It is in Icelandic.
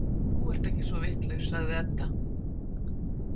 Þú ert ekki svo vitlaus, sagði Edda.